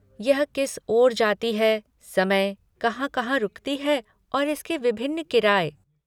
यह किस ओर जाती है, समय, कहाँ कहाँ रुकती है और इसके विभिन्न किराए।